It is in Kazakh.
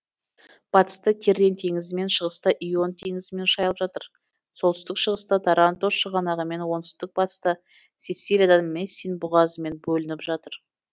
батыста тиррен теңізімен шығыста ион теңізімен шайылып жатыр солтүстік шығыста таранто шығанағымен оңтүстік батыста сицилиядан мессин бұғазымен бөлініп жатыр